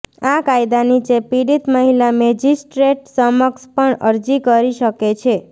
આ કાયદા નીચે પીડિત મહિલા મેજિસ્ટ્રેટ સમક્ષ પણ અરજી કરી શકે છે